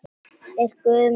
Er Guð með vængi?